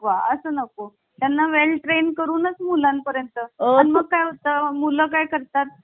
असं नको त्यांना well train करूनच मुलांपर्यंत अन् मग काय होतं मुलं काय करतात